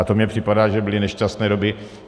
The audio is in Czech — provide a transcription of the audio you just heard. A to mně připadá, že byly nešťastné doby.